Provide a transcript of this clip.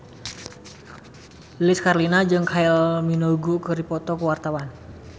Lilis Karlina jeung Kylie Minogue keur dipoto ku wartawan